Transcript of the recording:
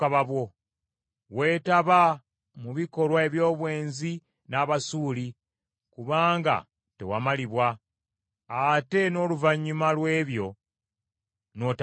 Weetaba mu bikolwa eby’obwenzi n’Abasuuli, kubanga tewamalibwa, ate n’oluvannyuma lw’ekyo n’otamatira.